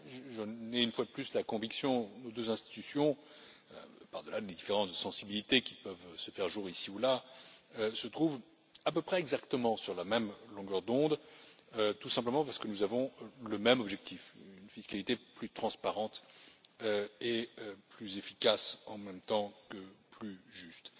J'en ai une fois de plus la conviction nos deux institutions au delà des différences de sensibilité qui peuvent se faire jour ici ou là se trouvent à peu près exactement sur la même longueur d'onde, tout simplement parce que nous avons le même objectif une fiscalité plus transparente, plus efficace et, en même temps, plus juste.